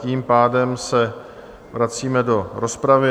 Tím pádem se vracíme do rozpravy.